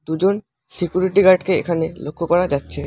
দুজন সিকিউরিটি গার্ডকে এখানে লক্ষ করা যাচ্ছে।